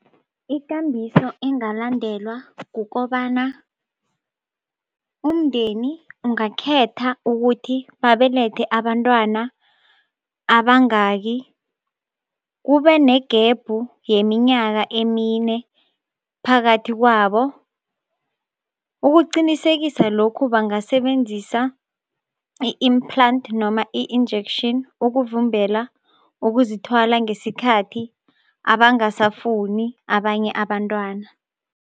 Ikambiso engalandelwa kukobana umndeni ungakhetha ukuthi babelethe abentwana abangaki, kube negebhu yeminyaka emine phakathi kwabo. Ukuqinisekisa lokhu bangasebenzisa i-implant noma i-injection ukuvimbela uzithwala ngesikhathi abangasafuni abanye abantwana.